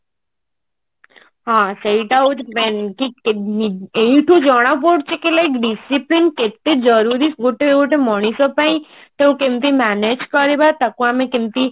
ହଁ ସେଇଟା ହଉଛି main ଠିକ ଏଇଠୁ ଜଣା ପଡୁଛି କି like discipline କେତେ ଜରୁରୀ ଗୋଟେ ଗୋଟେ ମଣିଷ ପାଇଁ ତାକୁ କେମତି manage କରିବା ତାକୁ ଆମେ କେମତି